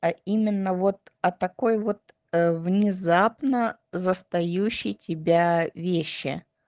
а именно вот о такой вот внезапно застающей тебя вещи